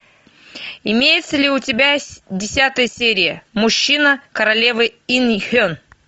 имеется ли у тебя десятая серия мужчина королевы ин хен